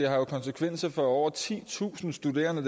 har jo konsekvenser for over titusind studerende